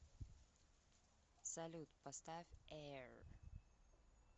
салют поставь эир